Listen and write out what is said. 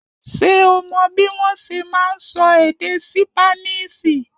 Ṣé o mò bí wọn ṣe ma nsọ èdè ṣípánísì?